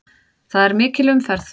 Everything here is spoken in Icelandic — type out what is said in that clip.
Það er mikil umferð.